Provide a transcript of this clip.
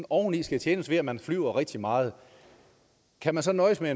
oveni skal tjenes ved at man flyver rigtig meget kan man så nøjes med